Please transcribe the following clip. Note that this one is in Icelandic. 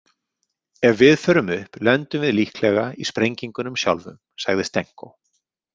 Ef við förum upp lendum við líklega í sprengingunum sjálfum, sagði Stenko.